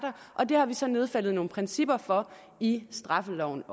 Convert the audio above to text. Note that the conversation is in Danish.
og det har vi så nedfældet nogle principper for i straffeloven